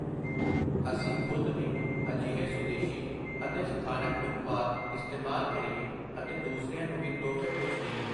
ਅਸੀਂ ਖ਼ੁਦ ਵੀ ਅਜਿਹੇ ਸੁਦੇਸ਼ੀ ਅਤੇ ਸਥਾਨਕ ਉਤਪਾਦ ਇਸਤੇਮਾਲ ਕਰੀਏ ਅਤੇ ਦੂਸਰਿਆਂ ਨੂੰ ਵੀ ਤੋਹਫ਼ੇ ਵਿੱਚ ਦੇਈਏ।